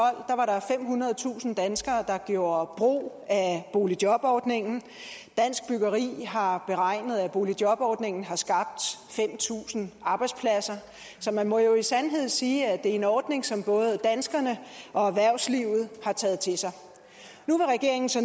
tusind danskere der gjorde brug af boligjobordningen og dansk byggeri har beregnet at boligjobordningen har skabt fem tusind arbejdspladser så man må jo i sandhed sige at det er en ordning som både danskerne og erhvervslivet har taget til sig nu vil regeringen så